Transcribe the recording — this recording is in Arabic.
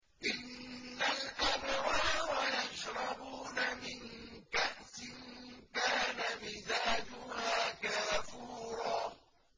إِنَّ الْأَبْرَارَ يَشْرَبُونَ مِن كَأْسٍ كَانَ مِزَاجُهَا كَافُورًا